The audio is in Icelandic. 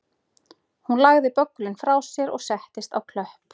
Hún lagði böggulinn frá sér og settist á klöpp